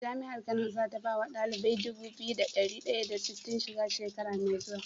Jami'ar kano zata bawa ɗalibai Dubu biyu da dari daya da sitin shiga shekara me zuwa?